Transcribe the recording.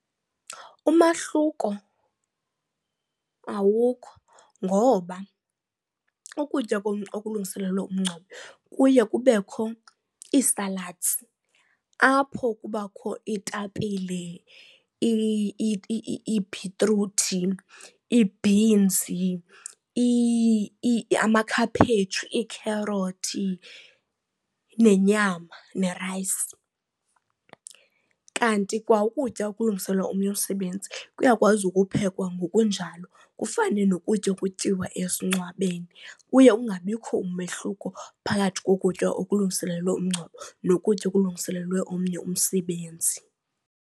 Umahluko awukho ngoba ukutya okulungiselelwe umngcwabo kuye kubekho ii-salads apho kubakho iitapile, iibhitruthi, iibhinzi, amakhaphetshu, iikherothi, nenyama nerayisi. Kanti kwa ukutya okulungiselelwa omnye umsebenzi kuyakwazi ukuphekwa ngokunjalo kufane nokutya okutyiwa esingcwabeni. Kuye kungabikho umehluko phakathi kokutya okulungiselelwe umngcwabo nokutya okulungiselelwe omnye umsebenzi.